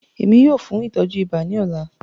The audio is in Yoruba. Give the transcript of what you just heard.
Ẹ̀mi yóò fún ìtọju ìbà ní òlà.